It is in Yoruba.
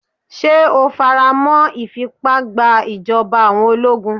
Ṣé o faramọ́ ìfìpá gba ìjọba àwọn ológun?